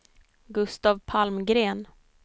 Gustaf Palmgren